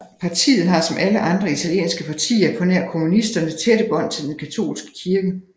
Partiet har som alle andre italienske partier på nær kommunisterne tætte bånd til den katolske kirke